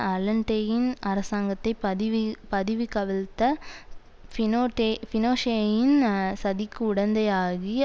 அலன்டேயின் அரசாங்கத்தை பதிவுபதவிகவிழ்த்த பினோடே பினோஷேயின் சதிக்கு உடந்தையாகி